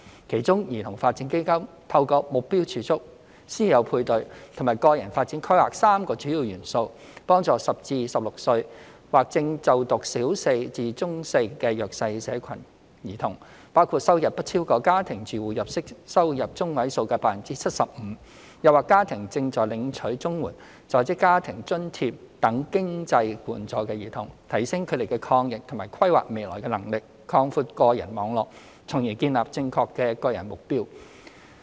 其中，兒童發展基金透過目標儲蓄、師友配對和個人發展規劃3個主要元素，幫助10至16歲或正就讀小四至中四的弱勢社群兒童，包括收入不超過家庭住戶每月收入中位數 75%； 又或家庭正在領取綜合社會保障援助、在職家庭津貼等經濟援助的兒童，提升他們抗逆和規劃未來的能力，擴闊個人網絡，從而建立正確的個人目標。